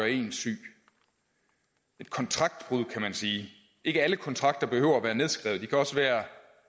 en syg et kontraktbrud kan man sige ikke alle kontrakter behøver at være nedskrevet de kan også være